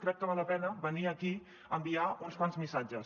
crec que val la pena venir aquí a enviar uns quants missatges